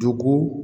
Dugu